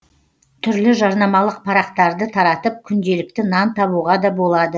түрлі жарнамалық парақтарды таратып күнделікті нан табуға да болады